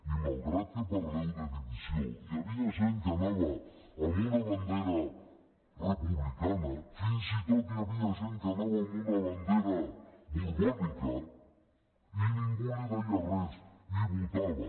i malgrat que parleu de divisió hi havia gent que anava amb una bandera republicana fins i tot hi havia gent que anava amb una bandera borbònica i ningú li deia res i votava